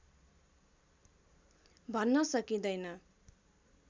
भन्न सकिँदैन